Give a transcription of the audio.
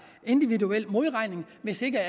individuel modregning hvis ikke